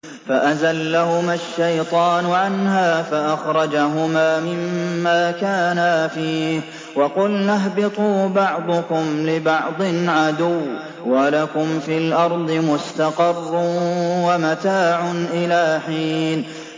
فَأَزَلَّهُمَا الشَّيْطَانُ عَنْهَا فَأَخْرَجَهُمَا مِمَّا كَانَا فِيهِ ۖ وَقُلْنَا اهْبِطُوا بَعْضُكُمْ لِبَعْضٍ عَدُوٌّ ۖ وَلَكُمْ فِي الْأَرْضِ مُسْتَقَرٌّ وَمَتَاعٌ إِلَىٰ حِينٍ